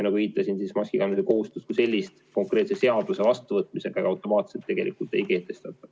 Nagu viitasin, maskikandmise kohustust kui sellist konkreetse seaduse vastuvõtmisega automaatselt tegelikult ei kehtestata.